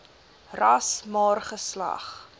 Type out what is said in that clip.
ras maar geslag